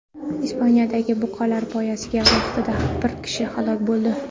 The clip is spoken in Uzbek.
Ispaniyadagi buqalar poygasi vaqtida bir kishi halok bo‘ldi.